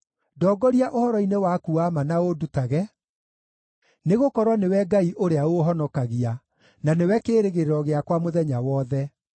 ndongoria ũhoro-inĩ waku wa ma na ũndutage, nĩgũkorwo nĩwe Ngai ũrĩa ũũhonokagia, na nĩwe kĩĩrĩgĩrĩro gĩakwa mũthenya wothe.